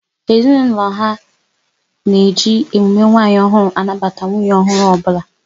Ezinaụlọ ha na eji emume nwanyị ọhụrụ anabata nwunye ọhụrụ ọbụla